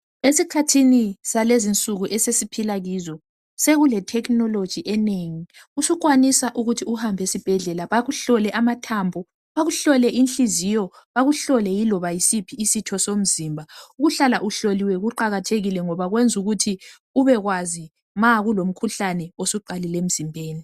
Esikhathini salezi insuku esiphila kizo sekule technology enengi. Usukwanisa ukuthi uhambe esibhedlela bakuhlole amathambo, bakuhlole inhliziyo bakuhlole yiloba yisiphi isitho somzimba. Ukuhlala uhloliwe kuqakathekile ngoba kwenzukuthi ubekwazi ma kulomkhuhlane osuqalile emzimbeni.